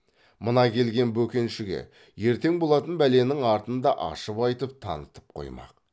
мына келген бөкеншіге ертең болатын бәленің артын да ашып айтып танытып қоймақ